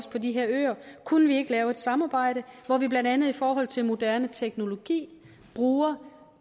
på de her øer kunne vi ikke lave et samarbejde hvor vi blandt andet i forhold til moderne teknologi bruger